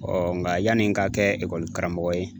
nka yanni n ka kɛ karamɔgɔ ye